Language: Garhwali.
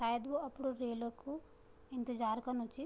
सायद वो अप्डू रेल कु इंतज़ार कनु च।